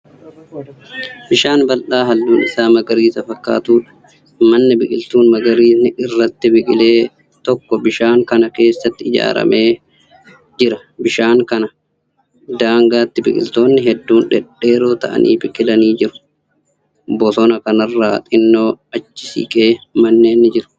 Bishaan bal'aa halluun Isaa magariisa fakkaatudha. manni biqiltuun magariisni irratti biqile tokko bishaan Kana keessatti ijaaramee Jira. bishaan Kana daangaatti biqiltoonni hedduun dhedheeroo ta'an biqilanii jiru. bosona Kanarraa xinnoo achi siqee manneen ni jiru.